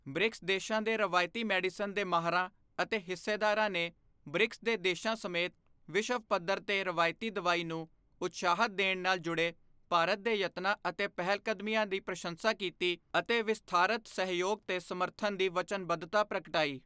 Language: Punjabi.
ਬ੍ਰਿਕਸ ਦੇਸ਼ਾਂ ਦੇ ਰਵਾਇਤੀ ਮੈਡੀਸਨ ਦੇ ਮਾਹਰਾਂ ਅਤੇ ਹਿੱਸੇਦਾਰਾਂ ਨੇ ਬ੍ਰਿਕਸ ਦੇ ਦੇਸ਼ਾਂ ਸਮੇਤ ਵਿਸ਼ਵ ਪੱਧਰ ਤੇ ਰਵਾਇਤੀ ਦਵਾਈ ਨੂੰ ਉਤਸ਼ਾਹਤ ਦੇਣ ਨਾਲ ਜੁੜੇ ਭਾਰਤ ਦੇ ਯਤਨਾਂ ਅਤੇ ਪਹਿਲਕਦਮੀਆਂ ਦੀ ਪ੍ਰਸੰਸਾ ਕੀਤੀ ਅਤੇ ਵਿਸਥਾਰਤ ਸਹਿਯੋਗ ਤੇ ਸਮਰਥਨ ਦੀ ਵਚਨਬੱਧਤਾ ਪ੍ਰਗਟਾਈ।